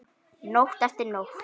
Nótt eftir nótt.